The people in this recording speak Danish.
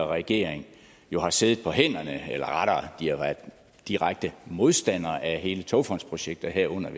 regering jo har siddet på hænderne eller rettere har været direkte modstandere af hele togfondsprojektet herunder